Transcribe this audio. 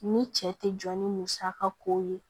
Ni cɛ tɛ jɔ ni musaka ko ye